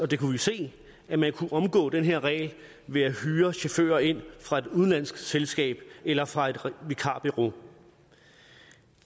det kunne vi se at man kunne omgå den her regel ved at hyre chauffører ind fra et udenlandsk selskab eller fra et vikarbureau